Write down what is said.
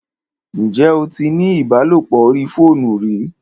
Ǹjẹ́ o tí ní ìbálòpọ̀ orí fóònù rí?